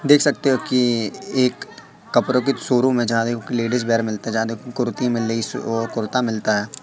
देख सकते हो कि एक कपड़ों की शोरूम है जहां देखो की लेडीज वियर मिलता जहां देखो कुर्ती मिलीस ओ कुर्ता मिलता है।